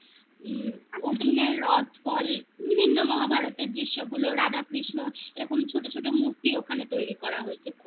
আচ্ছা অর্জুনের রথ ফল বিভিন্ন মহাভারতের দৃশ্যগুলো রাধা কৃষ্ণ এ রকম ছোট ছোট মূর্তি ওখানে তৈরি করা হয়েছে